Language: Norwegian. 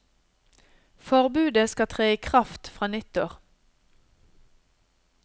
Forbudet skal tre i kraft fra nyttår.